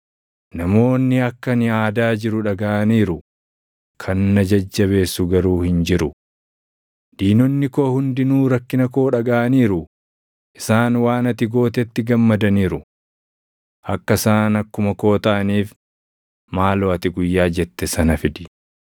“Namoonni akka ani aadaa jiru dhagaʼaniiru; kan na jajjabeessu garuu hin jiru. Diinonni koo hundinuu rakkina koo dhagaʼaniiru; isaan waan ati gootetti gammadaniiru. Akka isaan akkuma koo taʼaniif maaloo ati guyyaa jette sana fidi.